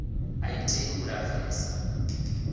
a i tei u lapfesa